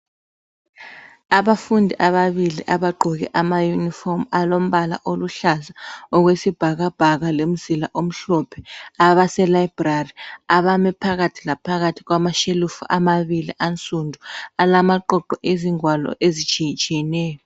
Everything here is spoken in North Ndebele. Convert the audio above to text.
Abafundi ababili abagqoke amayunifomu alombala oluhlaza okwesibhakabhaka lemizila omhlophe, abaselibrary, abame phakathi laphakathi kwamashelufu amabili ansundu alamaqoqo ezingwalo ezitshiyetshiyeneyo.